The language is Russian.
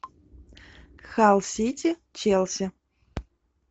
халл сити челси